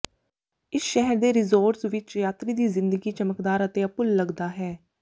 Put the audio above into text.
ਇਸ ਸ਼ਹਿਰ ਦੇ ਰਿਜ਼ੋਰਟਜ਼ ਵਿਚ ਯਾਤਰੀ ਦੀ ਜ਼ਿੰਦਗੀ ਚਮਕਦਾਰ ਅਤੇ ਅਭੁੱਲ ਲੱਗਦਾ ਹੈ